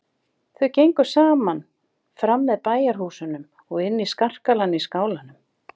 Þau gengu saman fram með bæjarhúsunum og inn í skarkalann í skálanum.